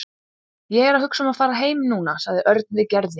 Ég er að hugsa um að fara heim núna sagði Örn við Gerði.